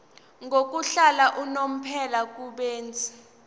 yokuhlala unomphela kubenzi